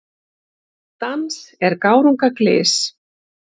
Dans er gárunga glys.